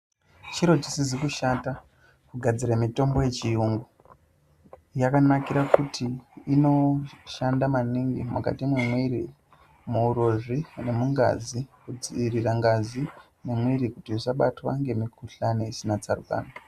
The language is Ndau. Chiro chisizi kushata kugadzire mitombo yechiyungu. Yakanakira kuti inoshanda maningi mwukati mwemwiri, muurozvi nemungazi, kudziirire ngazi yemwiri kuti isabatwa ngemikuhlani isina tsarukano.